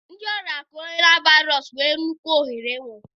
Ndị ọrịa Corona Virus nwere nnukwu ohere ịnwụ.